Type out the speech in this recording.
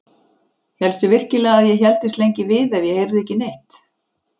Hélstu virkilega að ég héldist lengi við ef ég heyrði ekki neitt?